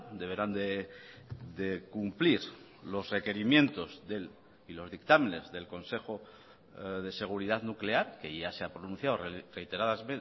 deberán de cumplir los requerimientos del y los dictámenes del consejo de seguridad nuclear que ya se ha pronunciado reiteradas